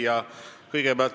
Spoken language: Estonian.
Hea küsija!